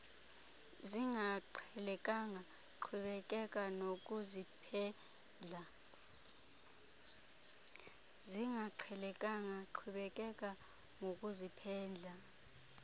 zingaqhelekanga qhubekeka nokuziphendla